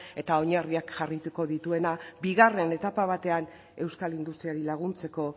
eta oinarriak jarriko dituena bigarren etapa batean euskal industriari laguntzeko